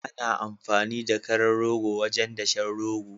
Ana amfani da karan rogo wajen dashen rogo